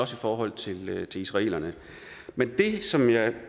forhold til israelerne men det som jeg